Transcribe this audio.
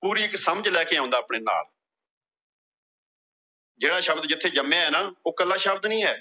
ਪੂਰੀ ਇੱਕ ਸਮਝ ਲੈ ਕੇ ਆਉਂਦਾ ਆਪਣੇ ਨਾਲ ਜਿਹੜਾ ਸ਼ਬਦ ਜਿਥੇ ਜੰਮਿਆ ਨਾ, ਉਹ ਕੱਲਾ ਸ਼ਬਦ ਨਈਂ ਐ।